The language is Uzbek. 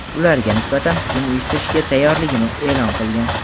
ularga nisbatan hujum uyushtirishga tayyorligini e’lon qilgan.